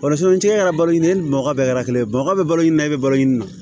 Bari sabu e yɛrɛ balolen bɔgɔ bɛɛ kɛra kelen ye baga bɛ balo nin na e bɛ balo ɲini na